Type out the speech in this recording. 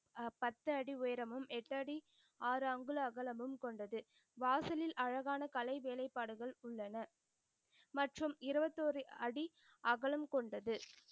பத்து அடி உயரமும் எட்டு அடி ஆறு அங்குல அகலமும் கொண்டது. வாசலில் அழகான கலை வேலைபாடுகள் உள்ளன. மற்றும் இருபத்தியோரு அடி அகலம் கொண்டது.